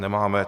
Nemáme.